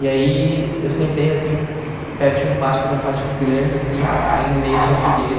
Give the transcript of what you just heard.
E aí eu sentei, assim, perto de um pátio, que tem um pátio grande, assim, aí no meio tinha a figueira.